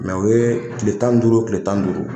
Mɛ o ye tile tan ni duuru tile tan ni duuru